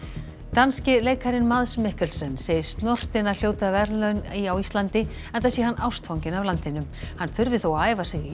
danski leikarinn Mikkelsen segist snortinn að hljóta verðlaun á Íslandi enda sé hann ástfanginn af landinu hann þurfi þó að æfa sig í